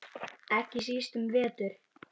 Ekki síst um vetur.